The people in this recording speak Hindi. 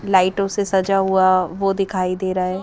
लाइटों से सजा हुआ वो दिखाई दे रहा है।